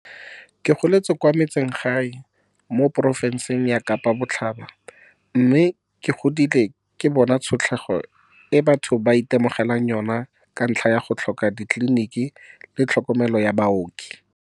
"Ke goletse kwa metsesele gae mo porofenseng ya Kapa Botlhaba mme ke godile ke bona tshotlego e batho ba itemogelang yona ka ntlha ya go tlhoka ditleliniki le tlhokomelo ya baoki."